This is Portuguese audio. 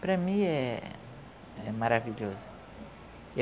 Para mim é é maravilhoso.